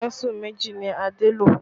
Kánsù méjì ni Adé lo